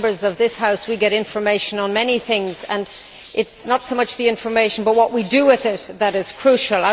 As Members of this House, we get information on many things and it is not so much the information, but what we do with it, that is crucial.